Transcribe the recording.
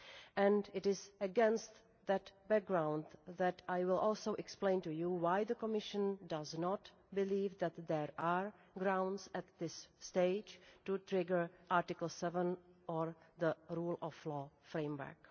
And it is against that background that I will also explain to you why the Commission does not believe that there are grounds at this stage to trigger Article 7 or the Rule of Law Framework.